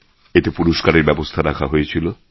এতে পুরস্কারের ব্যবস্থা রাখা হয়েছিল